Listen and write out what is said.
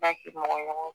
Ba ke mɔgɔ ɲɔgɔnw